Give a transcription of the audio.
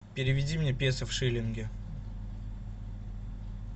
переведи мне песо в шиллинги